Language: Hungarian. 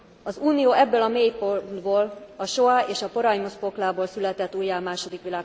Az Unió ebből a mélypontból, a soa és a porajmos poklából született újjá a